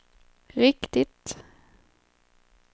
riktigt